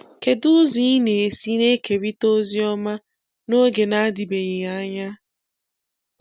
Kedu ụzọ ị na-esi na-ekerịta Oziọma n'oge na-adịbeghị anya?